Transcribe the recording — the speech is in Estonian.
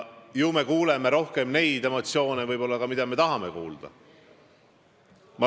Ju me märkame rohkem neid emotsioone, mida me tahame märgata.